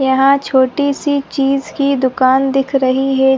यहाँ छोटी सी चीज की दुकान दिख रही है।